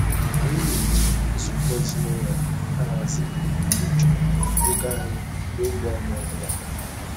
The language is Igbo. Anyị na-eji nzukọ ezinụlọ ahazi ebumnuche-ego anyị n'oge ugbo ọbụla.